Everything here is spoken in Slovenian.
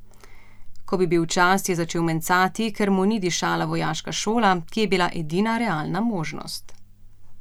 Ko bi bil čas, je začel mencati, ker mu ni dišala vojaška šola, ki je bila edina realna možnost.